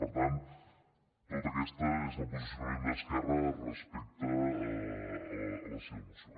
per tant tot aquest és el posicionament d’esquerra respecte a la seva moció